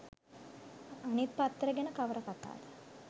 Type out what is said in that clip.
අනිත් පත්තර ගැන කවර කතාද